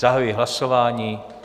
Zahajuji hlasování.